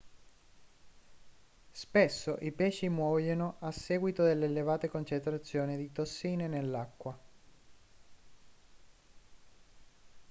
spesso i pesci muoiono a seguito delle elevate concentrazioni di tossine nell'acqua